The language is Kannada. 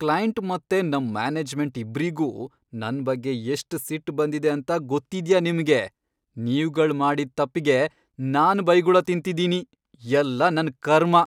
ಕ್ಲೈಂಟ್ ಮತ್ತೆ ನಮ್ ಮ್ಯಾನೇಜ್ಮೆಂಟ್ ಇಬ್ರಿಗೂ ನನ್ ಬಗ್ಗೆ ಎಷ್ಟ್ ಸಿಟ್ಟ್ ಬಂದಿದೆ ಅಂತ ಗೊತ್ತಿದ್ಯಾ ನಿಮ್ಗೆ? ನೀವ್ಗಳ್ ಮಾಡಿದ್ ತಪ್ಪಿಗೆ ನಾನ್ ಬೈಗುಳ ತಿಂತಿದೀನಿ, ಎಲ್ಲ ನನ್ ಕರ್ಮ.